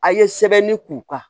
A' ye sɛbɛnni k'u kan